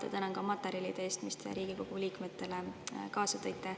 Ja tänan ka materjalide eest, mis te Riigikogu liikmetele kaasa tõite.